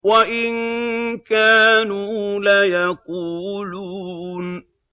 وَإِن كَانُوا لَيَقُولُونَ